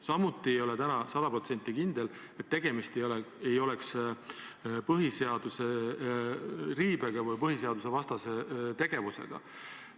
Samuti ei ole täna sada protsenti kindel, et tegemist ei oleks põhiseaduse riivega või põhiseadusvastase tegevusega.